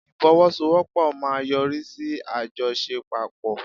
Ifowosowopo maa n yori si ajosepapo